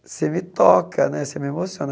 Você me toca né, você me emociona.